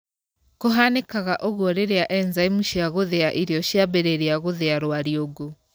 Kũhanĩkaga ũguo rĩrĩa enzaimu cia gũthĩa irio ciambĩrĩria gũthĩa rwariũngũ.